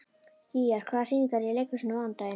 Gígjar, hvaða sýningar eru í leikhúsinu á mánudaginn?